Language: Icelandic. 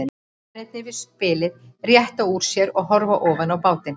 Mennirnir við spilið rétta úr sér og horfa ofan í bátinn.